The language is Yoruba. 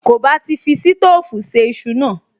Kò bá ti fi sítóòfù se iṣu náà